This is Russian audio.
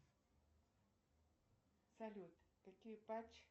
салют какие патч